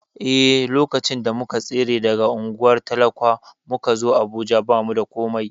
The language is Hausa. Eh, lokacin da muka tsere daga unguwar talakwa muka zo Abuja, ba mu da komai.